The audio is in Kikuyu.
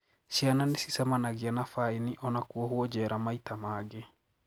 Ciana nicicemanagia na faini ona kuohwo jera maita mangi.